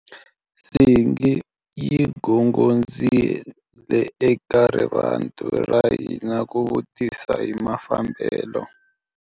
Nsingi yi gongondzile eka rivanti ra hina ku vutisa hi mafambelo.